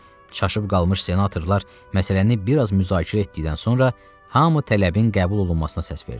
Çaşıb qalmış senatorlar məsələni biraz müzakirə etdikdən sonra hamı tələbin qəbul olunmasına səs verdi.